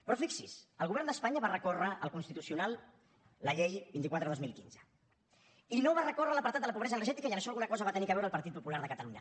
però fixi’s el govern d’espanya va recórrer al constitucional contra la llei vint quatre dos mil quinze i no va recórrer contra l’apartat de la pobresa energètica i en això alguna cosa hi va tenir a veure el partit popular de catalunya